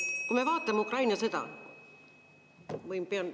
Kui me vaatame Ukraina sõda ...